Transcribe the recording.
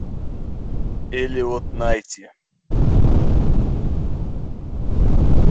элеот найти